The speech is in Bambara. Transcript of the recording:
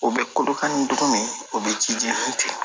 O bɛ kolokani dugu min o bɛ ji jeni ten